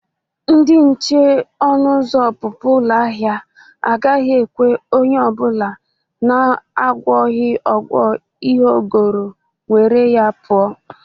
Ndị nche ọnụ ụzọ ọpụpụ ụlọ ahịa agaghị ekwe onye ọ bụla na-agwọghị ọgwọ ihe o goro nwere ya pụọ.